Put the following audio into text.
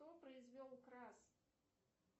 кто произвел крас